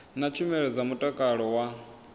na tshumelo dza mutakalo wa